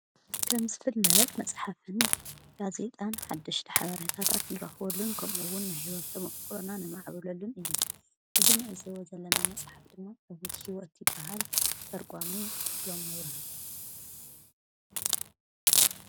ከምስ ፍል ለበድ መጽሓፍን ካ ዜጣን ሓድሽ ኃብርይታታት ንረኽወሉን ከምኡውን ሕይወትቶምቕክሎና ነማዕብለሉን እዩ ዝንዕዝወ ዘለና መጽሓፍ ድሞ እብት ሕይወቲበሃል ተርጓሚ ክፍሎም መብረሃቱ።